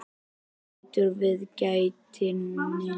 Hann lítur við í gættinni.